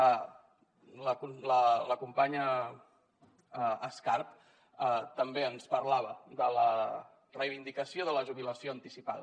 la companya escarp també ens parlava de la reivindicació de la jubilació anticipada